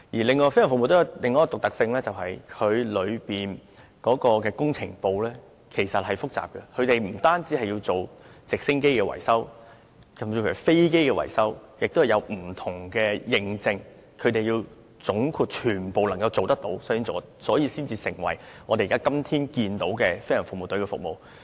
此外，飛行服務隊有另一個獨特性是，其工程部是複雜的，他們不止要懂得維修直升機，甚至還要維修飛機，也需擁有不同認證，他們要總括地全部也能做到，所以才會成為今天的飛行服務隊，為大眾服務。